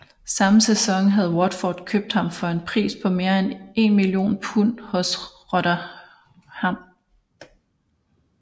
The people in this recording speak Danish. Samme sæson havde Watford købt ham for en pris på mere end 1 million pund hos Rotherham